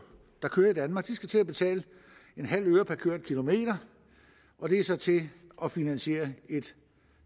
der kører i danmark til at betale en halv øre per kørt kilometer og det er så til at finansiere et